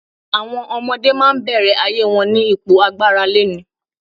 Àwọm ọmọdé máa ń bẹ̀rẹ̀ ayé wọn ní ipò agbáraléni.